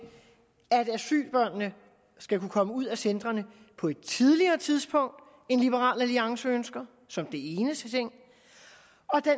at asylbørnene skal kunne komme ud af centrene på et tidligere tidspunkt end liberal alliance ønsker som den eneste ting